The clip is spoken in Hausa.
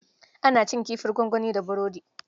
Ana cin kifin gwangwani da burodi.